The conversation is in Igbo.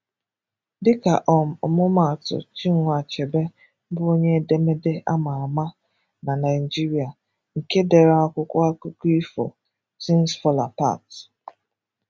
Dịka um ọmụmaatụ, “Chinua Achebe” bụ onye edemede a ma ama na Nigeria nke dere akwụkwọ akụkọ ifo “Things Fall Apart.”